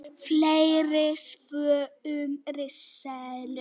Fleiri svör um risaeðlur: